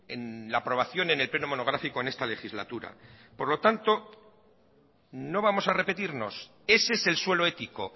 en la aprobación en el pleno monográfico en esta legislatura por lo tanto no vamos a repetirnos ese es el suelo ético